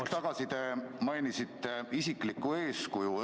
Hetk tagasi te mainisite isiklikku eeskuju.